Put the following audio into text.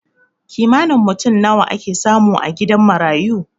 Kimanin mutum nawa ake samu a gidan marayu?